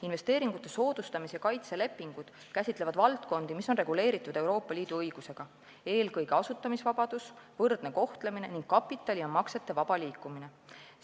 Investeeringute soodustamise ja kaitse lepingud käsitlevad valdkondi, mis on reguleeritud Euroopa Liidu õigusega, eelkõige asutamisvabadus, võrdne kohtlemine ning kapitali ja maksete vaba liikumine.